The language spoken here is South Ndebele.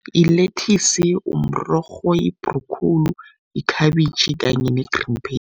Yilethisi, mrorho, yibhrokhowuli, yikhabitjhi kanye ne-green pepper